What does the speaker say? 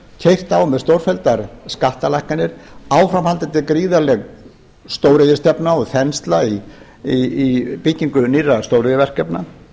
keyrt á með stórfelldar skattalækkanir áframhaldandi gríðarleg stóriðjustefna og þensla í byggingum nýrra stóriðjuverkefna